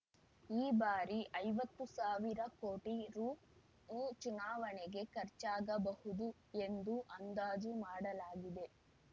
ಈ ಬಾರಿ ಐವತ್ತು ಸಾವಿರ ಕೋಟಿ ರೂ ಚುನಾವಣೆಗೆ ಖರ್ಚಾಗಬಹುದು ಎಂದು ಅಂದಾಜು ಮಾಡಲಾಗಿದೆ